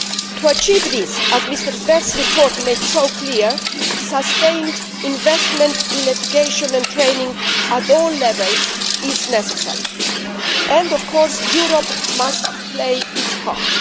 To achieve this, as Mr Zver's report makes so clear, sustained investment in education and training at all levels is necessary and, of course, Europe must play its part.